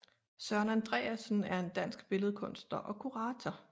Søren Andreasen er en dansk billedkunstner og kurator